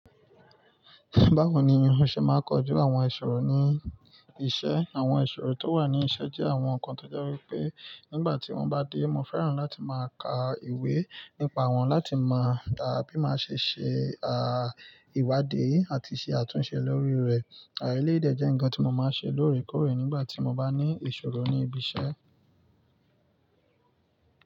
Báwo ni mo ṣe máa kọjú àwọn ìṣòro ní iṣẹ́? Àwọn ìṣòro tó wà ní iṣẹ́ jẹ́ àwọn nǹkan tó jẹ́ wípé nígbà tí wón bá dé, mo fẹ́ràn láti máa ka ìwé nípa wọn láti mọ̀, bí má ṣe ṣe ìwádìí àti ṣe àtúnṣe lórí rẹ̀. Èyi de jé nńkan ti mo máa ń se lórékóré nígbà tí mo bá ní ìsòro ní ibi isé.